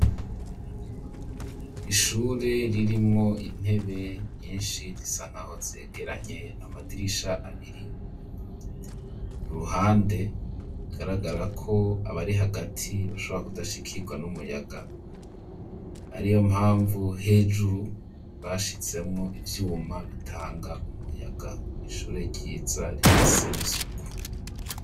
Ishure ririmwo intebe nyinshi risa nkaho zegeranye, amadirisha abiri ku ruhande agaragara ko abari hagati bashobora kudashikirwa n'umuyaga, ari yo mpamvu hejuru bashizemwo ivyuma bitanga umuyaga, ishure ryiza rifise n'isuku.